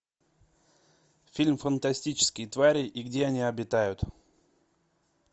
фильм фантастические твари и где они обитают